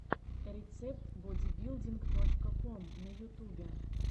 рецепт бодибилдинг точка ком на ютубе